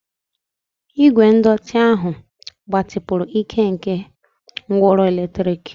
Igwe ndọtị ahụ gbatịpụrụ ike nke ngwaọrụ eletrik.